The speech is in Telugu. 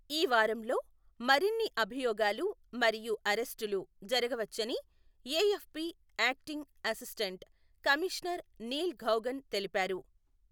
ఈ వారంలో మరిన్ని అభియోగాలు మరియు అరెస్టులు జరగవచ్చని AFP acting assistant commissioner Neil Gaughan తెలిపారు.